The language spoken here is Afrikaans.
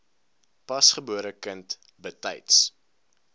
pasgebore kind betyds